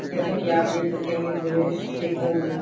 जैसा की आप देख सकते हैं ये दृश्य एकदम --